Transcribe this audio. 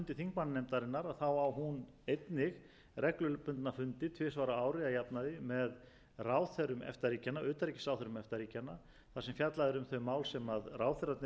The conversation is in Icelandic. þingmannanefndarinnar á hún einnig reglubundið fundi tvisvar á ári að jafnaði með utanríkisráðherrum efta ríkjanna þar sem fjallað er um þau mál sem ráðherrarnir eru að ræða á